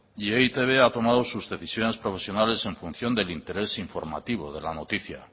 y e i te be ha tomado sus decisiones profesionales en función del interés informativo de la noticia